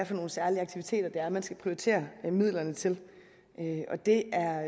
for nogle særlige aktiviteter man skal prioritere midlerne til det er